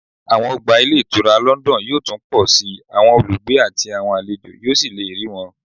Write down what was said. Àwọn ọgbà ìtura ní London yóò tún pọ̀ sí i, àwọn olùgbé àti àwọn àlejò yóò sì lè rí wọn